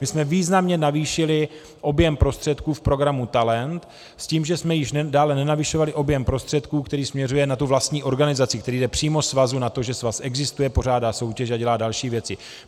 My jsme významně navýšili objem prostředků v programu Talent s tím, že jsme již dále nenavyšovali objem prostředků, který směřuje na tu vlastní organizaci, který jde přímo svazu na to, že svaz existuje, pořádá soutěže a dělá další věci.